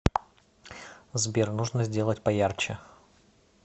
сбер нужно сделать поярче